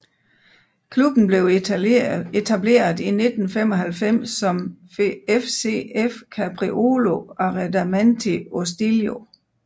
Klubben blev etableret i 1995 som FCF Capriolo Arredamenti Ostilio